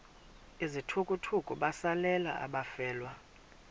izithukuthuku besalela abafelwa